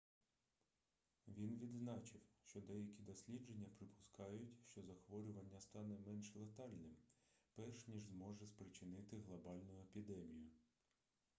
він відзначив що деякі дослідження припускають що захворювання стане менш летальним перш ніж зможе спричинити глобальну епідемію